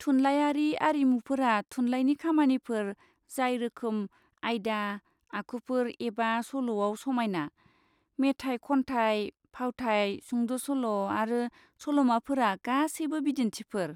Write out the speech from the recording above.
थुनलायारि आरिमुफोरा थुनलाइनि खामानिफोर जाय रोखोम, आयदा, आखुफोर एबा सल'आव समायना। मेथाइ खनथाइ, फावथाइ, सुंद'सल' आरो सल'माफोरा गासैबो बिदिन्थिफोर।